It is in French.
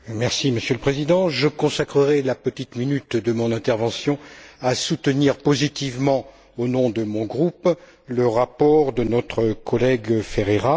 Monsieur le Président, je consacrerai la petite minute de mon intervention à soutenir positivement au nom de mon groupe, le rapport de notre collègue Ferreira.